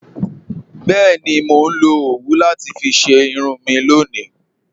Bẹẹni, mó nlọ owú láti fí ṣẹ irun mi lọ́ni